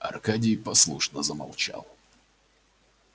аркадий послушно замолчал